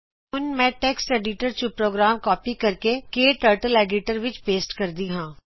ਹੁਣ ਮੈਂ text editor ਤੋਂ ਪ੍ਰੋਗਰਾਮ ਕਾਪੀ ਕਰਕੇKTurtle ਐਡੀਟਰ ਵਿੱਚ ਪੇਸਟ ਕਰਦੀ ਹਾਂ